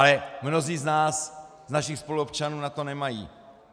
Ale mnozí z nás, z našich spoluobčanů, na to nemají.